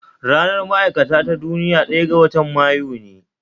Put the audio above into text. Ranar ma'aikata ta duniya ɗaya ga watan Mayu ne